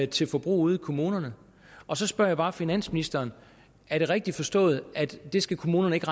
til forbrug ude i kommunerne og så spørger jeg bare finansministeren er det rigtigt forstået at det skal kommunerne ikke